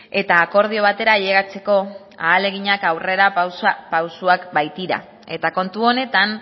eta akordio batera ailegatzeko ahaleginak aurrera pausuak baitira eta kontu honetan